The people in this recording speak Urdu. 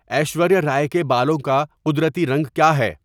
ایشوریہ رائے کے بالوں کا قدرتی رنگ کیا ہے